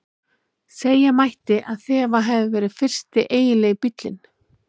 Segja mætti að þetta hafi verið fyrsti eiginlegi bíllinn.